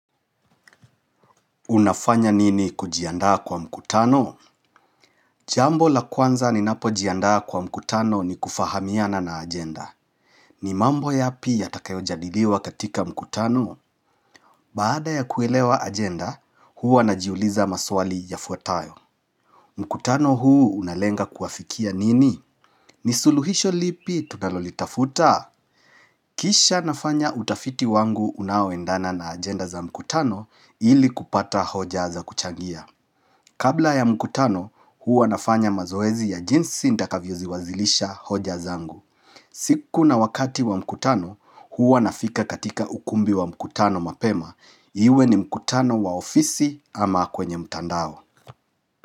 Unafanya nini kujiandaa kwa mkutano? Jambo la kwanza ninapojiandaa kwa mkutano ni kufahamiana na ajenda. Ni mambo yaapi yatakayojadiliwa katika mkutano? Baada ya kuelewa ajenda, huwa najiuliza maswali yafuatayo. Mkutano huu unalenga kuafikia nini? Ni suluhisho lipi tunalolitafuta? Kisha nafanya utafiti wangu unaoendana na ajenda za mkutano ili kupata hoja za kuchangia. Kabla ya mkutano huwa nafanya mazoezi ya jinsi nitakavyoziwasilisha hoja zangu. Siku na wakati wa mkutano huwa nafika katika ukumbi wa mkutano mapema. Iwe ni mkutano wa ofisi ama kwenye mtandao.